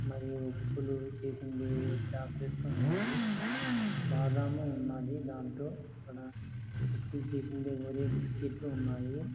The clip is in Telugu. మరియు చేసింది చాక్లెట్ లు ఉన్నాయి . బాదాము ఉన్నాది దాంట్లో మరియు బిస్కెట్ లు ఉన్నాయి.